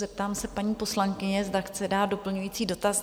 Zeptám se paní poslankyně, zda chce dát doplňující dotaz?